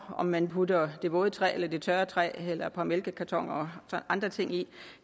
om man putter det våde træ eller det tørre træ eller et par mælkekartoner og andre ting ind